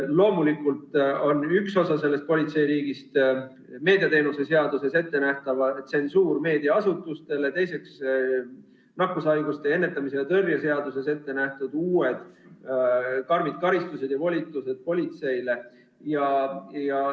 Loomulikult on üks osa sellest politseiriigist meediateenuste seaduses ettenähtav tsensuur meediaasutustele, teiseks nakkushaiguste ennetamise ja tõrje seaduses ettenähtud uued karmid karistused ja volitused politseile.